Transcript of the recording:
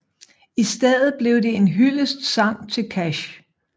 I stedet blev det en hyldestsang til Cash